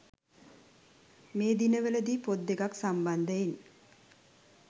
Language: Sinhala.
මේ දිනවල දී පොත් දෙකක් සම්බන්ධයෙන්